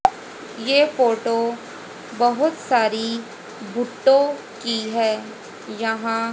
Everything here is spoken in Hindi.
ये फोटो बहुत सारी भुट्टो की है। यहां --